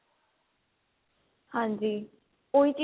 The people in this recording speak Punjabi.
ਹਾਂਜੀ ਉਹੀ ਚੀਜ